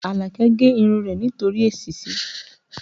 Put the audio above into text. Alake gé irun rẹ̀ nítorí èsísí